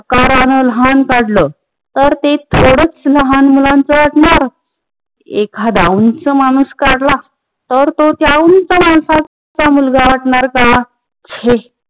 कारण लहान काडल तर ते थोडच लहान मुलाचं ना एकदा उंच माणूस काडला तर तो त्या उंच माणसात त्या मुलगा असणार त्या हे